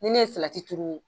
N'i ne ye turu.